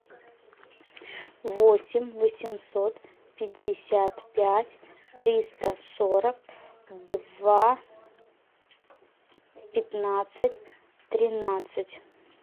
восемь восемьсот пятьдесят пять триста сорок два пятнадцать тринадцать